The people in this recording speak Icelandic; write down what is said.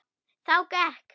Þá gekk